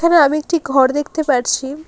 এখানে আমি একটি ঘর দেখতে পারছি।